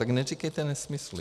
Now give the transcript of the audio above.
Tak neříkejte nesmysly!